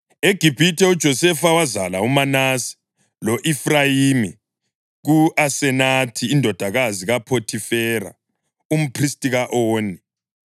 EGibhithe uJosefa wazala uManase lo-Efrayimi ku-Asenathi indodakazi kaPhothifera, umphristi ka-Oni.